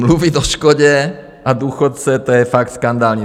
Mluvit o škodě a důchodcích, to je fakt skandální.